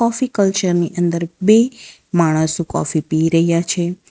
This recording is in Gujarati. કોફી કલ્ચર ની અંદર બે માણસો કોફી પી રહ્યા છે.